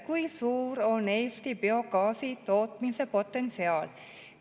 Kui suur on Eesti biogaasi tootmise potentsiaal?